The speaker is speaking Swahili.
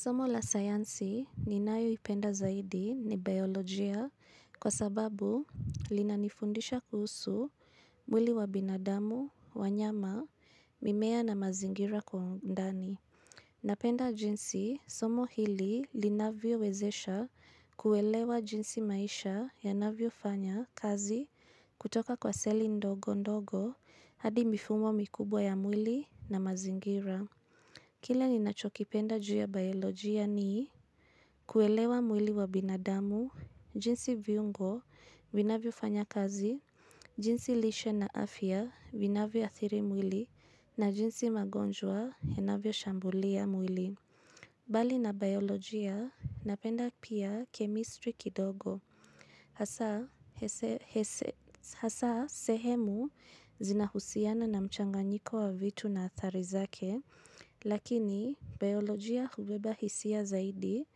Somo la sayansi ninayoipenda zaidi ni biolojia kwa sababu linanifundisha kuhusu mwili wa binadamu, wanyama, mimea na mazingira kwa undani. Napenda jinsi somo hili linavyowezesha kuelewa jinsi maisha yanavyofanya kazi kutoka kwa seli ndogo ndogo hadi mifumo mikubwa ya mwili na mazingira. Kila ninachokipenda juu ya biolojia ni kuelewa mwili wa binadamu, jinsi viungo, vinavyofanya kazi, jinsi lishe na afya, vinavyoathiri mwili, na jinsi magonjwa, yanavyoshambulia mwili. Bali na biolojia, napenda pia kemistri kidogo. Hasa Hasa sehemu zinahusiana na mchanganyiko wa vitu na athari zake, lakini biolojia hubeba hisia zaidi